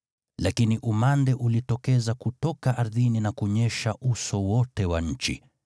lakini umande ulitokeza kutoka ardhini na kunyesha uso wote wa nchi: